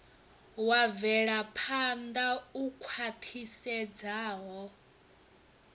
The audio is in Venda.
wa mvelaphan ḓa u khwaṱhisedzaho